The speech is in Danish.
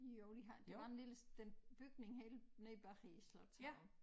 Jo de har det var en lille den bygning helt nede bag i æ slotshave